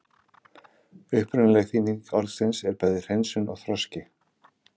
Upprunaleg þýðing orðsins er bæði hreinsun og þroski.